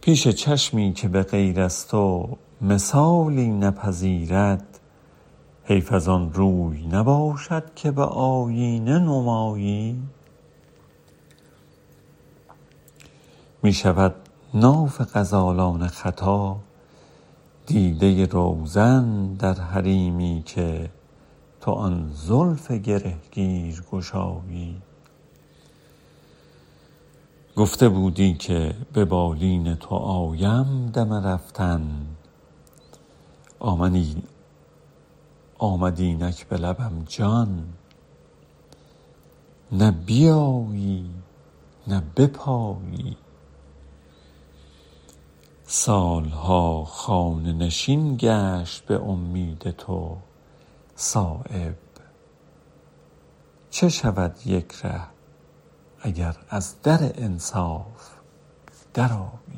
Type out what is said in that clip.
پیش چشمی که به غیر از تو مثالی نپذیرد حیف ازان روی نباشد که به آیینه نمایی می شود ناف غزالان ختا دیده روزن در حریمی که تو آن زلف گرهگیر گشایی گفته بودی که به بالین تو آیم دم رفتن آمد اینک به لبم جان نه بیایی نه بپایی سالها خانه نشین گشت به امید تو صایب چه شود یک ره اگر از در انصاف درآیی